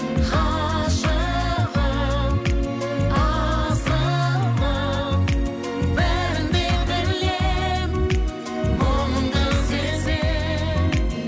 ғашығым асылым бәрін де білемін мұңыңды сеземін